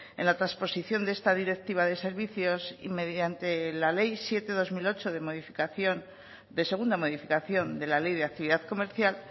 en la transposición de esta directiva de servicios y mediante la ley siete barra dos mil ocho de modificación de segunda modificación de la ley de actividad comercial